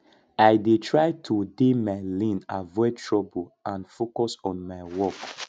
i dey try to dey my lane avoid trouble and focus on my work